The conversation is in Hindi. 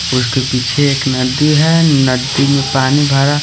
उसके पीछे एक नदी है नदी में पानी भरा--